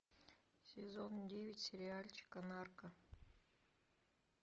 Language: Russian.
сезон девять сериальчика нарко